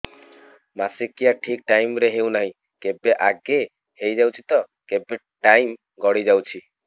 ମାସିକିଆ ଠିକ ଟାଇମ ରେ ହେଉନାହଁ କେବେ ଆଗେ ହେଇଯାଉଛି ତ କେବେ ଟାଇମ ଗଡି ଯାଉଛି